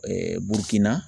Burukina